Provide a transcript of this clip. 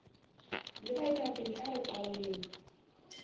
le baetapele a re qaleng